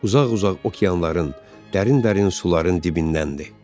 Uzaq-uzaq okeanların, dərin-dərin suların dibindən idi.